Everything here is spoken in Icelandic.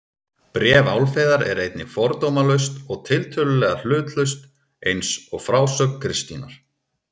Bréf Álfheiðar er einnig fordómalaust og tiltölulega hlutlaust eins og frásögn Kristínar.